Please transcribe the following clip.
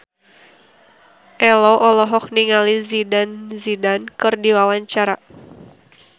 Ello olohok ningali Zidane Zidane keur diwawancara